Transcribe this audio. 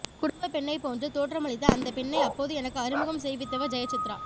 குடும்பப் பெண்ணை போன்று தோற்றமளித்த அந்தப் பெண்ணை அப்போது எனக்கு அறிமுகம் செய்வித்தவர் ஜெயசித்ரா